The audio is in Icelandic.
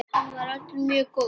Hann var öllum mjög góður.